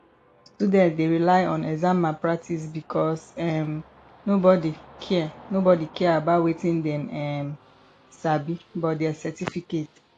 student dey rely on exam malpractice because um nobody care nobody care about wetin dem um sabi but their certificate